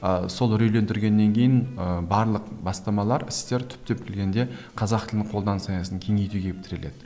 ы сол үрейлендіргеннен кейін ыыы барлық бастамалар істер түптеп келгенде қазақ тілін қолданыс аясын кеңейтуге келіп тіреледі